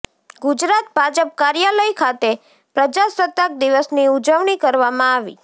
ગુજરાત ભાજપ કાર્યાલય ખાતે પ્રજાસત્તાક દિવસની ઉજવણી કરવામાં આવી